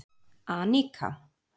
Anika